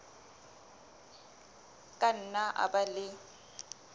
ka nna a ba le